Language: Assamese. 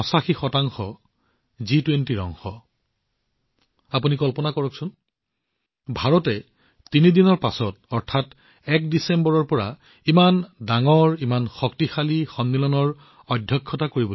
আপুনি কল্পনা কৰিব পাৰে ভাৰতে ইমান ডাঙৰ গোট ইমান শক্তিশালী গোটৰ অধ্যক্ষতা কৰিবলৈ গৈ আছে এতিয়াৰে পৰা ৩দিন পিছৰে পৰা অৰ্থাৎ ডিচেম্বৰৰ ১ তাৰিখৰ পৰা